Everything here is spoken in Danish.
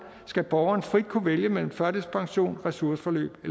skal borgeren frit kunne vælge mellem førtidspension ressourceforløb